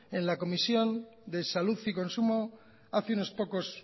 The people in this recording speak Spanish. en la comisión de salud y consumo hace unos pocos